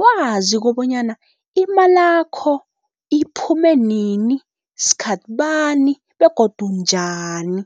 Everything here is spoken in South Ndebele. wazi kobonyana imalakho iphume nini, sikhathi bani begodu njani.